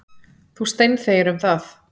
Þú steinþegir um það.